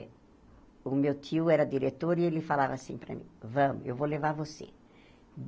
O meu tio era diretor e ele falava assim para mim, vamos, eu vou levar você.